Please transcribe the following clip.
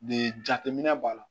De jateminɛ b'a la